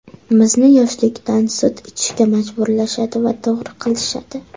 Bizni yoshlikdan sut ichishga majburlashadi va to‘g‘ri qilishadi!